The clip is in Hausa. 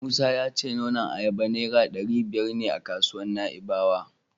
Musa ya ce nonon ayaba Naira ɗari biyar ne a kasuwar Na'ibawa.